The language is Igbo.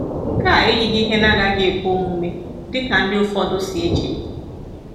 Nke a eyighị ihe na-agaghị ekwe omume dị ka ndị ụfọdụ si eche.